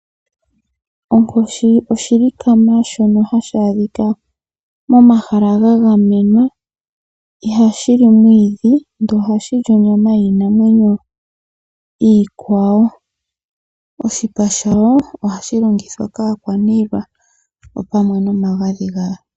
Onkoshibishilikama shono hashi adhika momahala ga gamenwa ihashi li omwiidhi ndele ohashi li onyama yiinamwenyo iikwawo. Oshipa shayo ohashi longithwa kaakwaniilwa opamwe nomagadhi gayo.